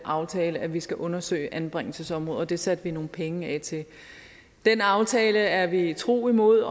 aftale at vi skal undersøge anbringelsesområdet og det satte vi nogle penge af til den aftale er vi tro imod